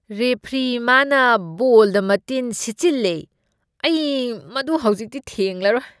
Referee, ꯃꯥꯅ ꯕꯣꯜꯗ ꯃꯇꯤꯜ ꯁꯤꯠꯆꯤꯂꯂꯦ꯫ ꯑꯩ ꯃꯗꯨ ꯍꯧꯖꯤꯛꯇꯤ ꯊꯦꯡꯂꯔꯣꯏ ꯫